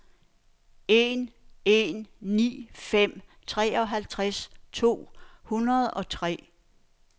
en en ni fem treoghalvfems to hundrede og tre